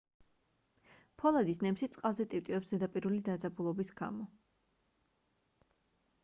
ფოლადის ნემსი წყალზე ტივტივებს ზედაპირული დაძაბულობის გამო